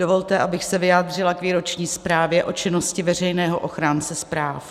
Dovolte, abych se vyjádřila k výroční zprávě o činnosti veřejného ochránce práv.